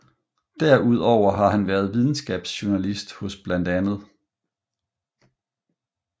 Derudover har han været videnskabsjurnalist hos bla